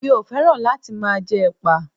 Mi ò fẹ́ràn láti máa jẹ ẹpa.